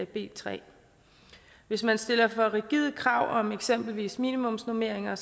b tredje hvis man stiller for rigide krav om eksempelvis minimumsnormeringer